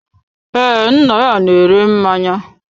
Ee, nna ya na-ere mmanya.